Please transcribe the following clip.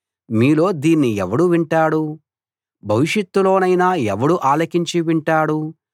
మీలో దీన్ని ఎవడు వింటాడు భవిష్యత్తులోనైనా ఎవడు ఆలకించి వింటాడు